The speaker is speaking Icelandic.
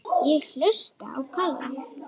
Ég hlusta á Kalla.